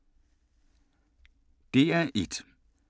DR1